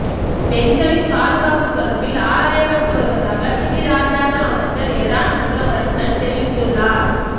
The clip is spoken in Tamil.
பெண்களின் பாதுகாப்பு தொடர்பில் ஆராயப்பட்டு வருவதாக நிதி இராஜாங்க அமைச்சர் எரான் விக்கிரமரட்ன தெரிவித்துள்ளார்